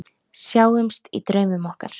Sjáumst í draumum okkar.